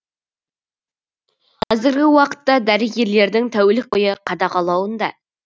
қазіргі уақытта дәрігерлердің тәулік бойы қадағалауында